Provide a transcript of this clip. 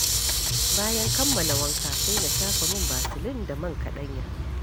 Bayan kammala wanka, sai na shafa man Vaseline da man kaɗanya